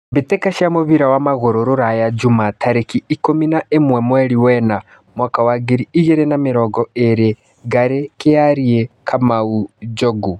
Mbĩ tĩ ka cia mũbira wa magũrũ Ruraya Juma tarĩ ki ikũmi na ĩ mwe mweri wena mwaka wa ngiri igĩ rĩ na mĩ rongo ĩ rĩ : Ngarĩ , Kĩ ariĩ , Kamau, Njogu